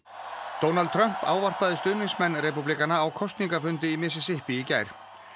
Donald Trump ávarpaði stuðningsmenn repúblikana á kosningafundi í Mississippi í gær